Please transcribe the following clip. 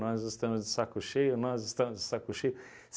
Nós estamos de saco cheio, nós estamos de saco cheio.